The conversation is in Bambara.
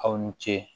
Aw ni ce